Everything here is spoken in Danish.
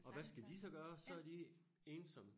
Og hvad skal de så gøre så er de ensomme